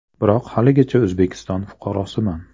Biroq haligacha O‘zbekiston fuqarosiman”.